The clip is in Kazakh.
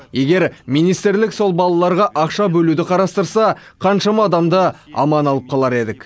егер министрлік сол балаларға ақша бөлуді қарастырса қаншама адамды аман алып қалар едік